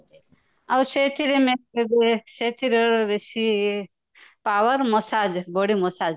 ଆଉ ସେଥିରେ ସେଇଥିରେ ବେଶୀ power massage body massage